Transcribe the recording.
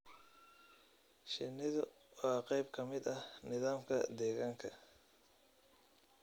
Shinnidu waa qayb ka mid ah nidaamka deegaanka.